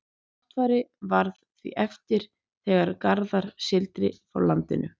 náttfari varð því eftir þegar garðar sigldi frá landinu